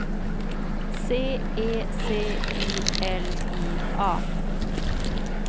C E C I L I A